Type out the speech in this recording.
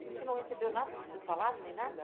E você não recebeu nada do teu salário, nem nada?